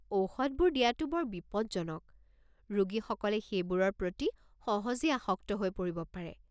ঔষধবোৰ দিয়াটো বৰ বিপদজনক, ৰোগীসকলে সেইবোৰৰ প্ৰতি সহজেই আসক্ত হৈ পৰিব পাৰে।